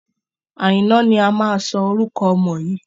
Àìná ni a máa sọ orúkọ ọmọ yìí.